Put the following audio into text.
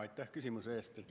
Aitäh küsimuse eest!